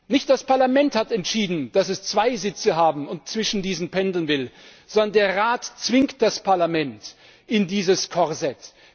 Nicht das Parlament hat entschieden, dass es zwei Sitze haben und zwischen diesen pendeln will, sondern der Rat zwingt das Parlament in dieses Korsett.